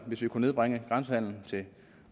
hvis vi kunne nedbringe grænsehandelen